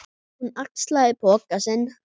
Hún axlaði poka sinn.